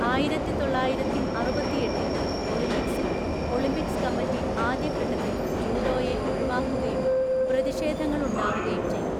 ആയിരത്തിത്തൊള്ളായിരത്തിഅറുപത്തിഎട്ടിൽ ഒളിമ്പിക്‌സിൽ, Olympics committee ആദ്യഘട്ടത്തിൽ ജൂഡോയെ ഒഴിവാക്കുകയും പ്രതിഷേധങ്ങളുണ്ടാവുകയും ചെയ്തു.